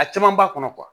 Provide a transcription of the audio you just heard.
A caman b'a kɔnɔ